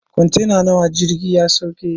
Kwantena nawa jirgin ya sauke?